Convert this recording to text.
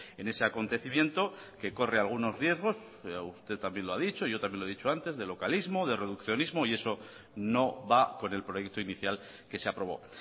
en ese acontecimiento que corre algunos riesgos pero usted también lo ha dicho y también lo he dicho antes de localismo de reduccionismo y eso no va con el proyecto inicial que se aprobó